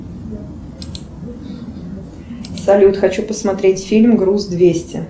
салют хочу посмотреть фильм груз двести